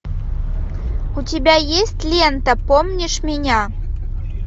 у тебя есть лента помнишь меня